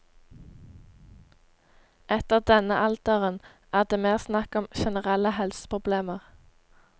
Etter denne alderen er det mer snakk om generelle helseproblemer.